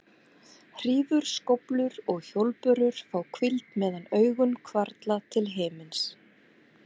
Hrífur, skóflur og hjólbörur fá hvíld meðan augun hvarfla til himins.